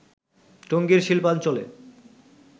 টঙ্গীর শিল্পাঞ্চলে